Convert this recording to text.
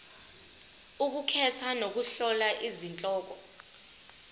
ukukhetha nokuhlola izihloko